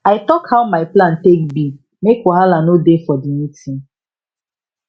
i talk how my plan take be make wahala no dey for d meeting